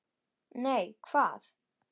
Nei, hvað?